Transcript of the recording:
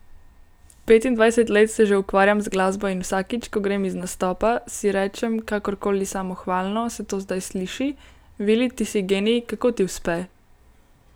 Petindvajset let se že ukvarjam z glasbo in vsakič, ko grem iz nastopa, si rečem, kakorkoli samohvalno se to zdaj sliši, Vili ti si genij, kako ti uspe?